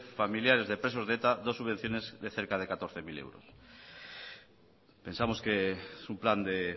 familiares de presos de eta dos subvenciones de cerca de catorce mil euros pensamos que es un plan de